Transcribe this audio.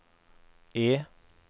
E